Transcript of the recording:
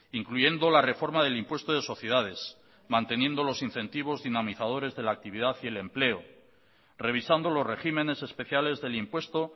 incluyendo la reforma del impuesto de sociedades manteniendo los incentivos dinamizadores de la actividad y el empleo revisando los regímenes especiales del impuesto